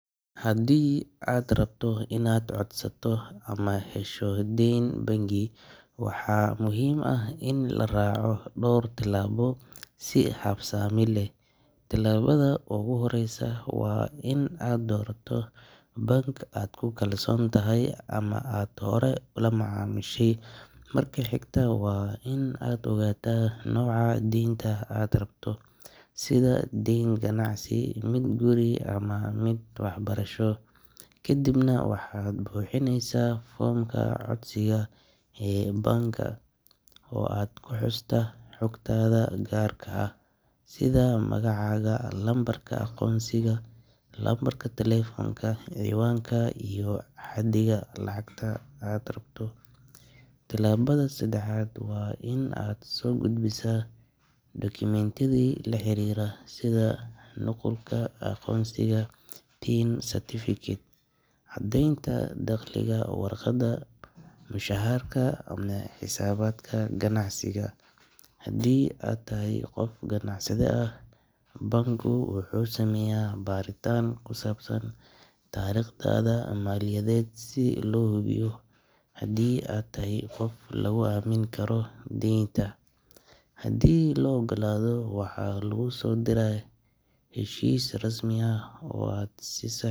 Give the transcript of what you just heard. Haddii aad rabto inaad codsato ama hesho deyn bangi, waxaa muhiim ah in la raaco dhowr tillaabo si habsami leh. Tillaabada ugu horreysa waa in aad doorato bank aad ku kalsoon tahay ama aad horey ula macaamishay. Marka xigta waa in aad ogaataa nooca deynta aad rabto, sida deyn ganacsi, mid guri ama mid waxbarasho. Kadibna waxaad buuxinaysaa foomka codsiga ee bank-ga oo aad ku xustaa xogtaada gaarka ah sida magacaaga, lambarka aqoonsiga, lambarka taleefanka, ciwaanka iyo xaddiga lacagta aad rabto. Tillaabada saddexaad waa in aad soo gudbisaa dukumentiyada la xiriira sida nuqulka aqoonsiga, PIN certificate, caddeynta dakhligaa, warqadda mushaharka ama xisaabaadka ganacsiga haddii aad tahay qof ganacsade ah. Bank-gu wuxuu sameeyaa baaritaan ku saabsan taariikhdaada maaliyadeed si loo hubiyo haddii aad tahay qof lagu aamini karo deynta. Haddii la oggolaado, waxaa laguu soo diraa heshiis rasmi ah oo aad saxii.